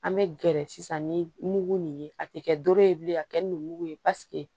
An bɛ gɛrɛ sisan ni mugu nin ye a tɛ kɛ doro ye bilen ka kɛ nu mugu ye